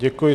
Děkuji.